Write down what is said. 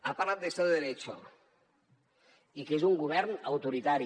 ha parlat d’ estado de derecho i que és un govern autoritari